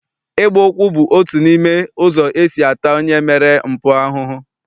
Ịgba ụkwụ bụ otu n'ime ụzọ esi ata onye mere mpụ ahụhụ.